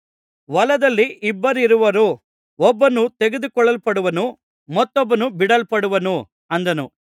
ಹೊಲದಲ್ಲಿ ಇಬ್ಬರಿರುವರು ಒಬ್ಬನು ತೆಗೆದುಕೊಳ್ಳಲ್ಪಡುವನು ಮತ್ತೊಬ್ಬನು ಬಿಡಲ್ಪಡುವನು ಅಂದನು